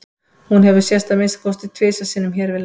hún hefur sést að minnsta kosti tvisvar sinnum hér við land